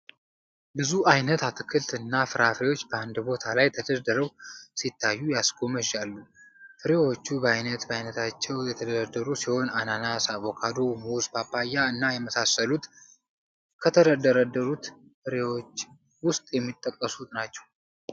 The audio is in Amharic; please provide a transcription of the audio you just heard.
ብዙ አይነት አትክልት እና ፍራፍሬዎች በአንድ ቦታ ላይ ተደርድረው ሲታዩ ያስጎመዣሉ። ፍራፍሬዎቹ በአይነት በአይነታቸው የተደረደሩ ሲሆን አናናስ፣ አቮካዶ፣ ሙዝ፣ ፓፓ እና የመሳሰሉት ከተደረደሩት ፍራፍሪዎች ዉስጥ የሚጠቀሱ ናቸው።